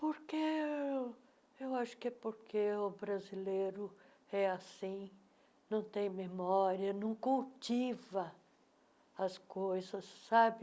Por que Eu acho que é porque o brasileiro é assim, não tem memória, não cultiva as coisas, sabe?